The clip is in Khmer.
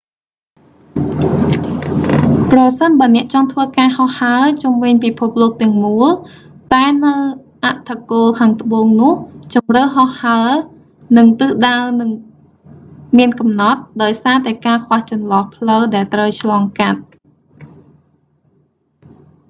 ប្រសិនបើអ្នកចង់ធ្វើការហោះហើរជុំវិញពិភពលោកទាំងមូល តែនៅអឌ្ឍគោលខាងត្បូងនោះ ជម្រើសហោះហើរ និងទិសដៅនឹងមានកំណត់ ដោយសារតែការខ្វះចន្លោះផ្លូវដែលត្រូវឆ្លងកាត់